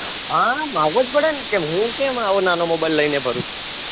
હા માંગવો જ પડેને હુકેમઆવો નાનો mobile લઈને ફરું